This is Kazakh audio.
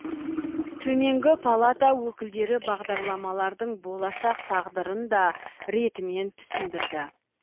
төменгі палата өкілдері бағдарламалардың болашақ тағдырын да ретімен түсіндірді